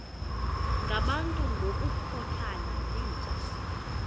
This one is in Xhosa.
ngabantu ngokukhothana yinja